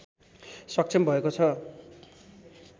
सक्षम भएको छ